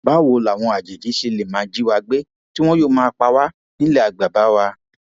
báwo làwọn àjèjì ṣe lè máa jí wa gbé tí wọn yóò máa pa pa wá nílé bàbá wa